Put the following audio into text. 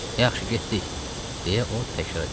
Yaxşı, getdik, deyə o təkrar elədi.